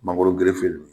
Mangoro